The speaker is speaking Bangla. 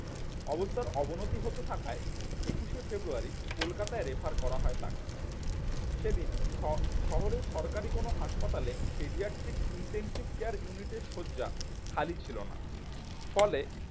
অবস্থার অবনতি হতে থাকায় একুশে ফেব্রুয়ারি কলকাতায় refer করা হয় তাকে সেদিন শ শহরের সরকারি কোন হাসপাতালে pediatric intensive care unit এর শয্যা খালি ছিল না, ফলে